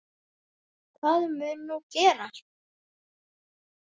Hvað mun nú gerast?